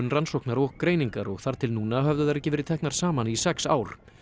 rannsóknar og greiningar og þar til núna höfðu þær ekki verið teknar saman í sex ár